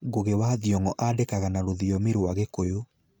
Ngũgĩ wa Thiong'o andĩkaga na rũthiomi rwa Kikuyu.